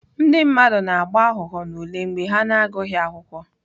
Ndị mmadụ na-aghọ aghụghọ n'ule mgbe ha na-agụghị akwụkwọ.